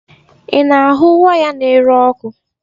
Ị na ahụ waya n'ere ọkụ?